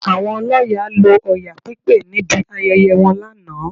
Àwọn ọlọ́ya lo Ọya pípé níbi ayẹyẹ wọn lánàá